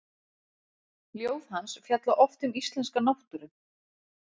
Ljóð hans fjalla oft um íslenska náttúru.